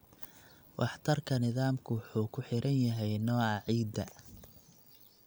Waxtarka nidaamku wuxuu ku xiran yahay nooca ciidda.